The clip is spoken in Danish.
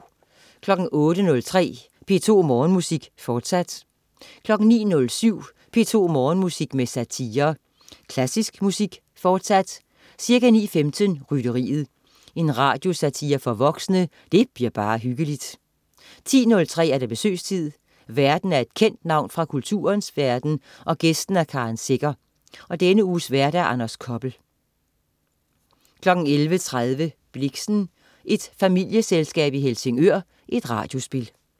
08.03 P2 Morgenmusik, forsat 09.07 P2 Morgenmusik med satire. Klassisk musik, fortsat. Ca. 9.15: Rytteriet. Radiosatire for voksne. Det bliver bare hyggeligt 10.03 Besøgstid. Værten er et kendt navn fra kulturens verden, gæsten er Karen Secher. Denne uges vært: Anders Koppel 11.30 Blixen: Et familieselskab i Helsingør. Radiospil